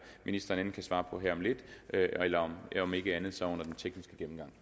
ministeren enten kan svare på her om lidt eller om ikke andet så under den tekniske gennemgang